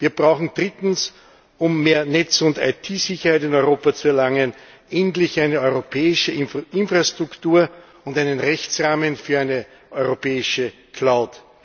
Wir brauchen drittens um mehr Netz und IT Sicherheit in Europa zu erlangen endlich eine europäische Infrastruktur und einen Rechtsrahmen für eine europäische Cloud.